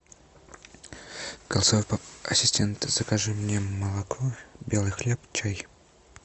ассистент закажи мне молоко белый хлеб чай